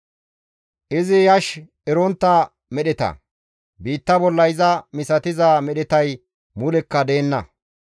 Izi yash erontta medheta; biitta bolla iza misatiza medhetay mulekka deenna.